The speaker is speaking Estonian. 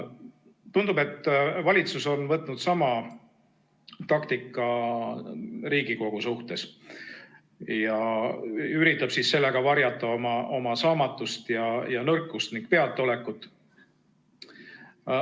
Tundub, et valitsus on võtnud sama taktika Riigikogu suhtes ning üritab sellega varjata oma saamatust, nõrkust ja peataolekut.